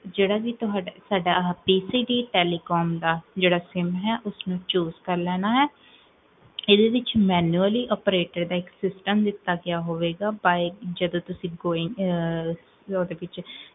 ਜੇਹੜਾ ਵੀ ਤੁਹਾਡਾ, pcv telecom ਦਾ ਜੇਹੜਾ ਸਿਮ ਹੈ, ਉਸਨੂ choose ਕਰਲੇਨਾ ਹੈ ਏਦੇ ਵਿੱਚ manually operated system ਦਿਤਾ ਹੋਵੇਗਾ, ਜਦੋ ਤੁਸੀਂ, ਓਦੇ ਵਿੱਚ